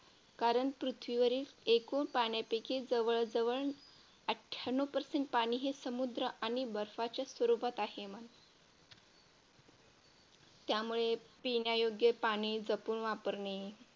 कारण पृथ्वीवरील एकूण पाण्यापैकी जवळजवळ अठ्ठ्याण्णव Percent पाणी हे समुद्र आणि बर्फाच्या स्वरूपात आहे. त्यामुळे पिण्यायोग्य पाणी जपून वापरणे